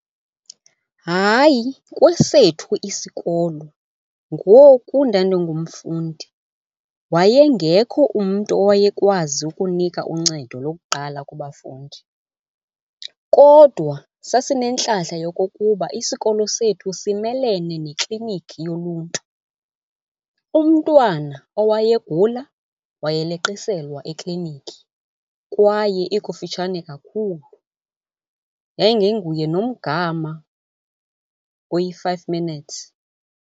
Hayi, kwesethu isikolo ngoku ndandingumfundi wayengekho umntu owayekwazi ukunika uncedo lokuqala kubafundi. Kodwa sasinentlahla yokokuba isikolo sethu simelene nekliniki yoluntu. Umntwana owayegula wayeleqiselwa ekliniki kwaye ikufitshane kakhulu, yayingenguye nomgama oyi-five minutes.